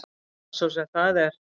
Hvað svo sem það er.